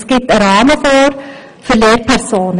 Er gibt einen Rahmen vor für Lehrpersonen.